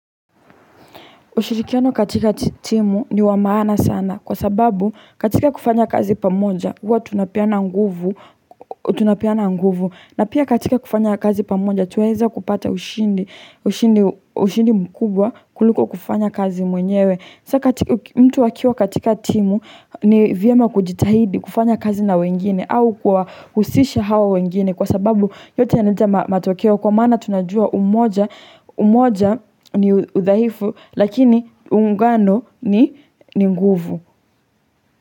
Ushirikiano katika timu ni wa maana sana. Kwa sababu katika kufanya kazi pamoja, huwa tunapeana nguvu. Na pia katika kufanya kazi pamoja, twaweza kupata ushindi mkubwa kuliko kufanya kazi mwenyewe. Mtu akiwa katika timu ni vyema kujitahidi kufanya kazi na wengine au kuwahusisha hao wengine kwa sababu yote yanaleta matokeo kwa maana tunajua umoja ni udhaifu lakini uungano ni nguvu.